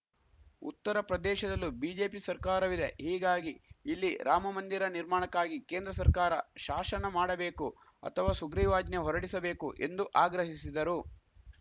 ಉತ್ತರಪ್ರದೇಶದಲ್ಲೂ BJP ಸರ್ಕಾರವಿದೆ ಹೀಗಾಗಿ ಇಲ್ಲಿ ರಾಮಮಂದಿರ ನಿರ್ಮಾಣಕ್ಕಾಗಿ ಕೇಂದ್ರ ಸರ್ಕಾರ ಶಾಶನ ಮಾಡಬೇಕು ಅಥವಾ ಸುಗ್ರೀವಾಜ್ಞೆ ಹೊರಡಿಸಬೇಕು ಎಂದು ಆಗ್ರಹಿಸಿದರು